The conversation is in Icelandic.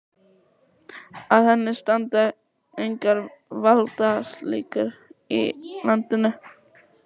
Að henni standa engar valdaklíkur í landinu.